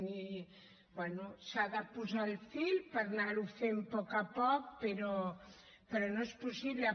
bé s’ha de posar el fil per anar ho fent a poc a poc però no és possible